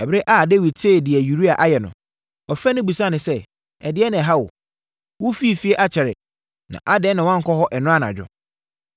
Ɛberɛ a Dawid tee deɛ Uria ayɛ no, ɔfrɛɛ no bisaa no sɛ, “Ɛdeɛn na ɛha wo? Wofirii fie akyɛre na adɛn na woankɔ hɔ ɛnnora anadwo?”